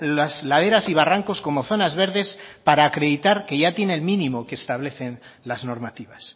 las laderas y barrancos como zonas verdes para acreditar que ya tiene el mínimo que establecen las normativas